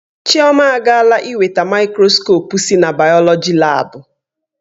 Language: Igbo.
Chioma agaala iweta maịkroskopụ si na bayoloji laabu.